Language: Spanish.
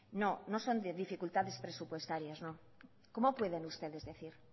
no no son dificultades presupuestarias cómo pueden ustedes decir